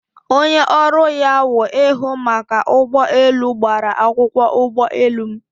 Onye ọrụ ya wụ ihụ maka ụgbọ elu gbara akwụkwọ ụgbọ elu m